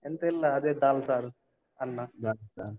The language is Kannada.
ಎಂತ ಇಲ್ಲ, ಅದೇ दाल ಸಾರು, ಅನ್ನ.